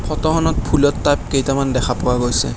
ফটোখনত ফুলৰ টাব কেইটামান দেখা পোৱা গৈছে।